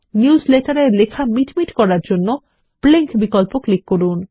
news letter এর লেখা মিটমিট করার জন্য ব্লিঙ্ক বিকল্প ক্লিক করুন